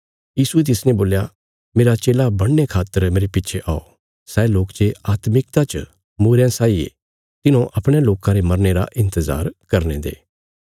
यीशुये तिसने बोल्या मेरा चेला बणने खातर मेरे पिछे औ सै लोक जे आत्मिकता च मूईरयां साई ये तिन्हौं अपणयां लोकां रे मरने रा इन्तजार करने दे